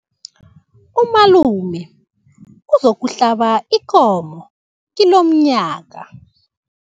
Umalume uzokuhlaba ikomo kilomnyanya.